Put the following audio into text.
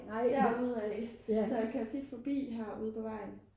derude af så jeg kører tit forbi herude på vejen